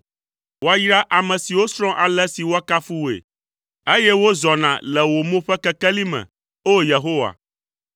Woayra ame siwo srɔ̃ ale si woakafu wòe, eye wozɔna le wò mo ƒe kekeli me, O Yehowa.